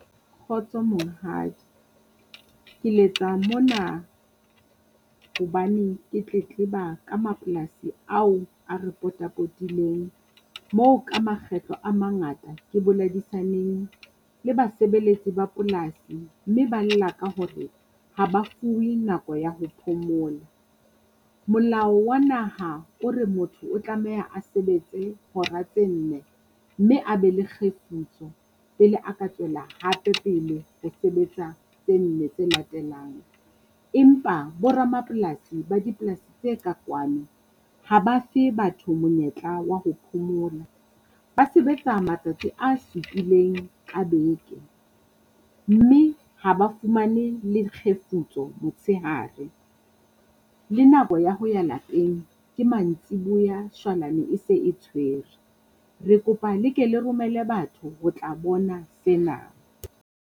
Kgotso Monghadi, ke letsa mona hobane ke tletleba ka mapolasi ao a re pota-potileng. Moo ka makgetlo a mangata ke boledisaneng le basebeletsi ba polasi, mme ba lla ka hore ha ba fuwe nako ya ho phomola. Molao wa naha o re motho o tlameha a sebetse hora tse nne mme a be le kgefutso pele a ka tswela hape pele ho sebetsa tse nne tse latelang. Empa bo ramapolasi ba dipolasi tse ka kwano, ha ba fe batho monyetla wa ho phomola, ba sebetsa matsatsi a supileng ka beke, mme ha ba fumane le kgefutso motshehare. Le nako ya ho ya lapeng ke mantsibuya shwalane e se e tshwere. Re kopa le ke le romele batho ho tla bona sena.